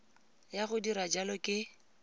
ya go dira jalo ke